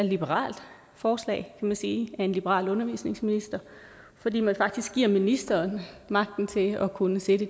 liberalt forslag man sige af en liberal undervisningsminister fordi man faktisk giver ministeren magten til at kunne sætte